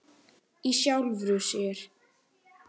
Í sjálfu sér ekki.